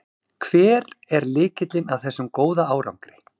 Hver er lykillinn að þessum góða árangri?